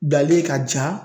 Balalen ka ja.